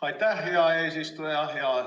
Aitäh, hea eesistuja!